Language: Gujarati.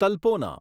તલ્પોના